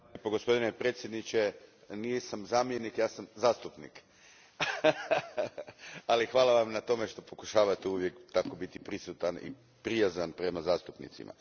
Gospodine predsjedniče, nisam zamjenik, ja sam zastupnik, ali hvala Vam na tome što pokušavati uvijek biti tako prisutan i prijazan prema zastupnicima.